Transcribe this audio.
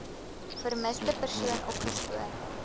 vermiste persoon opgespoor